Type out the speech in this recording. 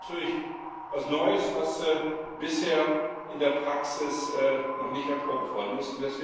Das ist natürlich etwas Neues, das bisher in der Praxis noch nicht erprobt worden ist.